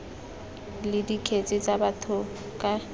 le dikgetse tsa batho ka